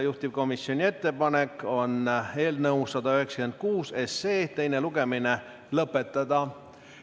Juhtivkomisjoni ettepanek on eelnõu 196 teine lugemine lõpetada.